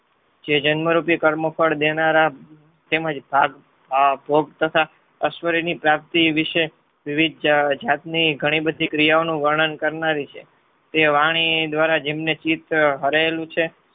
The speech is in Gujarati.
જે જન્મરૂપી કર્મ ફળ દેનારા તેમજ ભોગ તથા અશ્વિરીની પ્રાપ્તિ વિષે વિવિધ જાતની ઘણી બધી ક્રિયાઓનું વર્ણન કરનારી છે. એ વાણી દ્વારા જેમને ચિત્ત હારાયેલું છે.